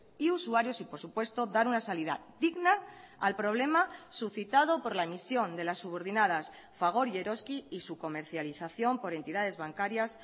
y usuarios y por supuesto dar una salida digna al problema suscitado por la emisión de las subordinadas fagor y eroski y su comercialización por entidades bancarias